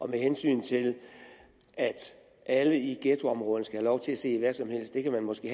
med hensyn til at alle i ghettoområderne skal have lov til at se hvad som helst kan der måske